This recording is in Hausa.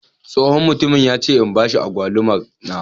Tsohon mutumin ya ce in bashi Agwaluma na.